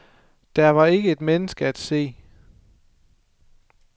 Der var ikke et menneske at se.